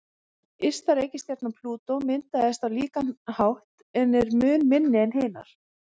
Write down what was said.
Ysta reikistjarnan, Plútó, myndaðist á líkan hátt en er mun minni en hinar.